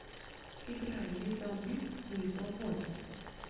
играй литл биг литл бой